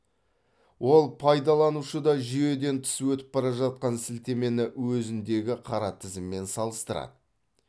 ол пайдаланушыда жүйеден тыс өтіп бара жатқан сілтемені өзіндегі қара тізіммен салыстырады